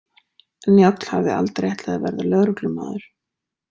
Njáll hafði aldrei ætlað að verða lögreglumaður.